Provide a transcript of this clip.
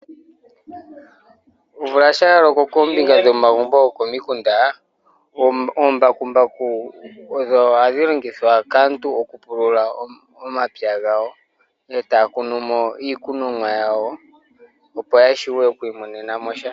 Omvula shampa ya loko koombinga dhomagumbo gokomikunda, omambakumbaku ogo haga longithwa kaantu oku pulula omapya gawo, e taya kunu iikonomwa yawo opo ya vule oku imonenamo sha.